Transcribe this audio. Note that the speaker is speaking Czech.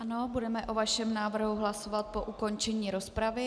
Ano, budeme o vašem návrhu hlasovat po ukončení rozpravy.